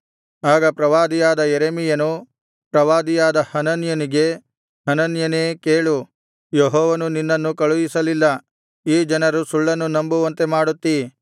ಆಗ ಪ್ರವಾದಿಯಾದ ಯೆರೆಮೀಯನು ಪ್ರವಾದಿಯಾದ ಹನನ್ಯನಿಗೆ ಹನನ್ಯನೇ ಕೇಳು ಯೆಹೋವನು ನಿನ್ನನ್ನು ಕಳುಹಿಸಲಿಲ್ಲ ಈ ಜನರು ಸುಳ್ಳನ್ನು ನಂಬುವಂತೆ ಮಾಡುತ್ತೀ